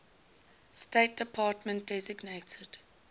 state department designated